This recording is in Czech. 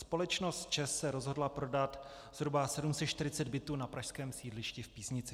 Společnost ČEZ se rozhodla prodat zhruba 740 bytů na pražském sídlišti v Písnici.